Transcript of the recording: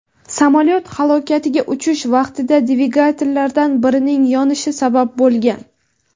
samolyot halokatiga uchish vaqtida dvigatellardan birining yonishi sabab bo‘lgan.